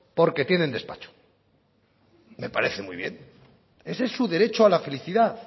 porque tienen despacho me parece muy bien ese es su derecho a la felicidad